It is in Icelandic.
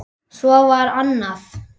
Svo var annað.